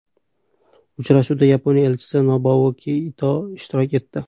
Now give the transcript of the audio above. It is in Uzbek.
Uchrashuvda Yaponiya elchisi Nobuaki Ito ishtirok etdi.